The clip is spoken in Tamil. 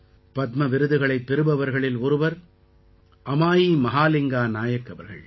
பத்ம விருது பெறுபவர்களில் ஒருவர் அமாயி மஹாலிங்கா நாயக் அவர்கள்